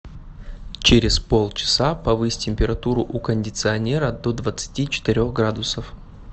через полчаса повысь температуру у кондиционера до двадцати четырех градусов